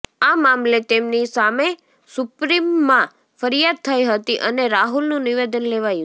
આ મામલે તેમની સામે સુપ્રીમમાં ફરિયાદ થઇ હતી અને રાહુલનું નિવેદન લેવાયું છે